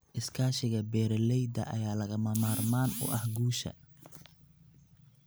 Iskaashiga beeralayda ayaa lagama maarmaan u ah guusha.